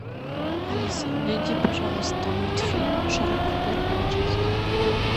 алиса найди пожалуйста мультфильм шрек первая часть